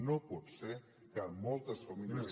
no pot ser que moltes famílies